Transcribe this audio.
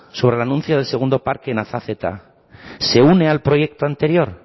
sobre el anuncio del segundo parque en azazeta se une al proyecto anterior